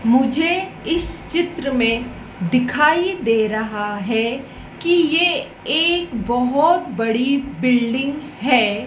मुझे इस चित्र में दिखाई दे रहा है कि ये एक बहोत बड़ी बिल्डिंग है।